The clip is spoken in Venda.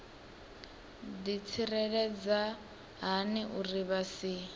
ḓitsireledza hani uri vha si